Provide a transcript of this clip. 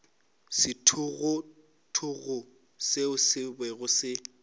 sethogothogo seo se bego se